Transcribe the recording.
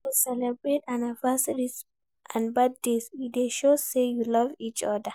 When we celebrate anniversary and birthdays e dey show sey we love each oda